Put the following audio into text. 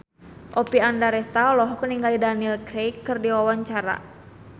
Oppie Andaresta olohok ningali Daniel Craig keur diwawancara